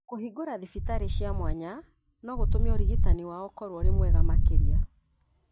kũhingũra thibitarĩ cia mwanya, no gũtũme ũrigitani wao ũkorũo ũrĩ mwega makĩria.